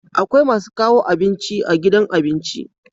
Akwai masu kawo abinci a gidan abinci